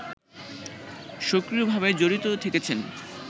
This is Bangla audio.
সক্রিয়ভাবে জড়িত থেকেছেন